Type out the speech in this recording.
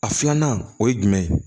A filanan o ye jumɛn ye